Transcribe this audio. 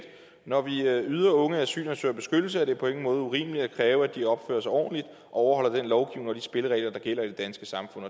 når vi yder unge asylansøgere beskyttelse er det på ingen måde urimeligt at kræve at de opfører sig ordentligt og overholder den lovgivning og de spilleregler der gælder i det danske samfund